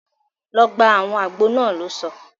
Lọ gba awọn àgbo náà! lò sọ